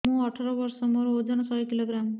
ମୁଁ ଅଠର ବର୍ଷ ମୋର ଓଜନ ଶହ କିଲୋଗ୍ରାମସ